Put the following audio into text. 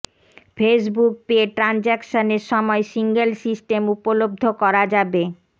Facebook pay ট্রানজাকশানের সময় single system উপলব্ধ করা যাবে